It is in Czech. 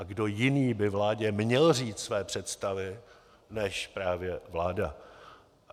A kdo jiný by vládě měl říct své představy než právě vláda.